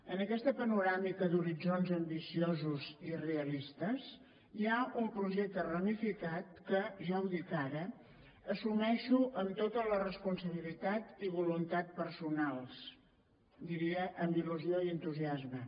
en aquesta panoràmica d’horitzons ambiciosos i realistes hi ha un projecte ramificat que ja ho dic ara assumeixo amb tota la responsabilitat i voluntat personals diria amb il·lusió i entusiasme